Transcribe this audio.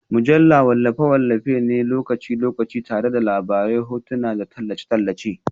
Mujallu wallafe-wallafe ne na lokaci-lokaci tare da labarai, hotuna, da tallace-tallace